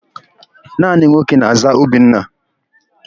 Naanị nwoke na-àzá Obinna.